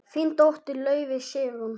Þín dóttir, Laufey Sigrún.